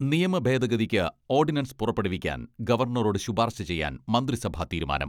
നിയമ ഭേദഗതിക്ക് ഓഡിനൻസ് പുറപ്പെടുവിക്കാൻ ഗവർണറോട് ശുപാർശ ചെയ്യാൻ മന്ത്രിസഭ തീരുമാനം.